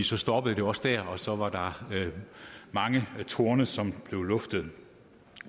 så stoppede det også der og så var der mange torne som blev luftet